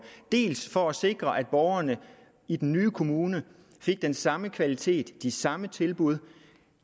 for at sikre at borgerne i den nye kommune fik den samme kvalitet og de samme tilbud